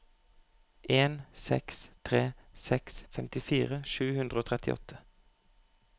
en seks tre seks femtifire sju hundre og trettiåtte